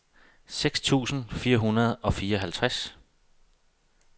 seks tusind fire hundrede og fireoghalvtreds